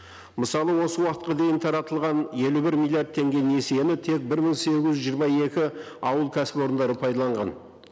мысалы осы уақытқа дейін таратылған елу бір миллиард теңге несиені тек бір мың сегіз жүз жиырма екі ауыл кәсіпорындары пайдаланған